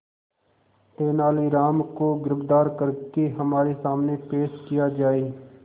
तेनालीराम को गिरफ्तार करके हमारे सामने पेश किया जाए